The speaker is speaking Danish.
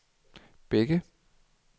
Bække